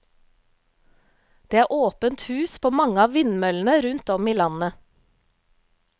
Det er åpent hus på mange av vindmøllene rundt om i landet.